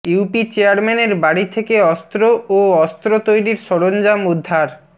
UP চেয়ারম্যানের বাড়ি থেকে অস্ত্র ও অস্ত্র তৈরির সরঞ্জাম উদ্ধার